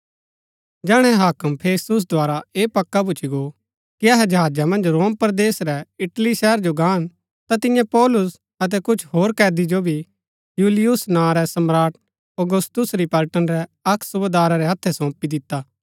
जैहणै हाक्म फेस्तुस द्धारा ऐह पक्का भूच्ची गो कि अहै जहाजा मन्ज रोम परदेस रै इटली शहर जो गान ता तिन्ये पौलुस अतै कुछ होर कैदी जो भी यूलियुस नां रै सम्राट औगुस्तुस री पलटन रै अक्क सूबेदारा रै हत्थै सौंपी दिता